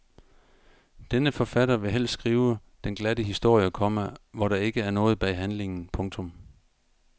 Denne forfatter vil helst skrive den glatte historie, komma hvor der ikke er noget bag handlingen. punktum